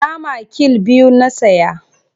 Nama kill biyu na saya.